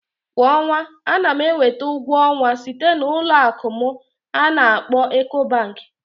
Kwa ọnwa, ana m enweta ụgwọ ọnwa site na Ụlọ akụ'm ana akkpo Ecobank